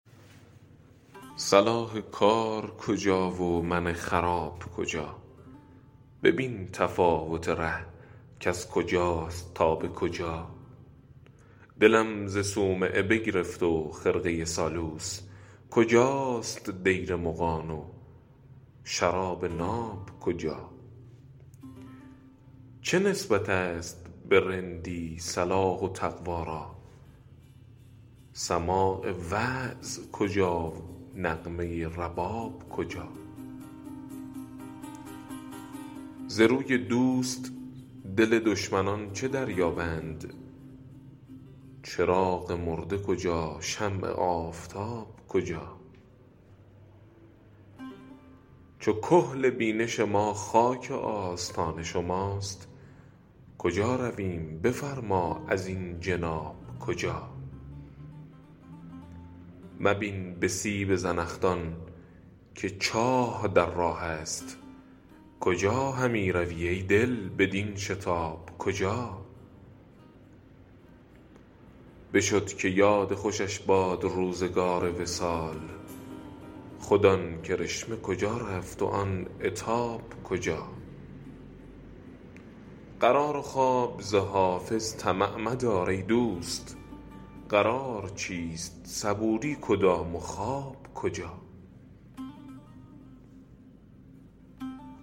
صلاح کار کجا و من خراب کجا ببین تفاوت ره کز کجاست تا به کجا دلم ز صومعه بگرفت و خرقه سالوس کجاست دیر مغان و شراب ناب کجا چه نسبت است به رندی صلاح و تقوا را سماع وعظ کجا نغمه رباب کجا ز روی دوست دل دشمنان چه دریابد چراغ مرده کجا شمع آفتاب کجا چو کحل بینش ما خاک آستان شماست کجا رویم بفرما ازین جناب کجا مبین به سیب زنخدان که چاه در راه است کجا همی روی ای دل بدین شتاب کجا بشد که یاد خوشش باد روزگار وصال خود آن کرشمه کجا رفت و آن عتاب کجا قرار و خواب ز حافظ طمع مدار ای دوست قرار چیست صبوری کدام و خواب کجا